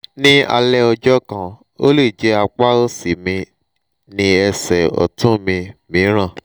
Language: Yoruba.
ní alẹ́ ọjọ́ kan ó lè jẹ́ apá òsì mi ní ẹsẹ̀ ọ̀tún mi mìíràn